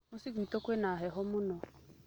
Mũciĩ gwĩtũ kwĩna heho mũno.